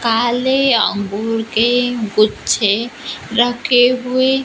काले अंगूर के गुच्छे रखे हुए--